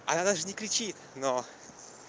она даже не кричит но